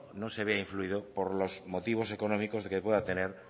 no se vea influido por los motivos económicos que pueda tener